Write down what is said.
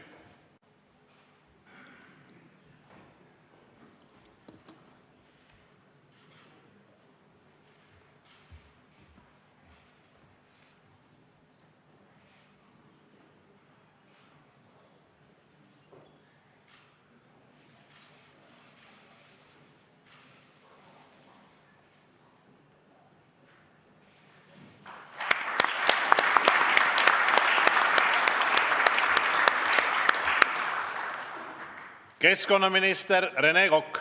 Keskkonnaminister Rene Kokk.